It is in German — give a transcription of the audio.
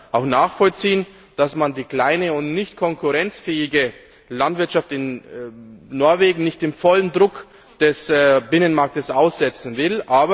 Ich kann auch nachvollziehen, dass man die kleine und nicht konkurrenzfähige Landwirtschaft in Norwegen nicht dem vollen Druck des Binnenmarkts aussetzen will.